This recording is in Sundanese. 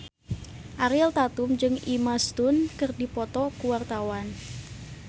Ariel Tatum jeung Emma Stone keur dipoto ku wartawan